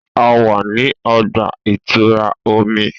A wa ni ọgba-itura omi.